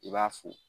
I b'a fo